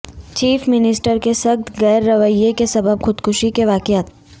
chief minister کے سخت گیر رویہ کے سبب خودکشی کے واقعات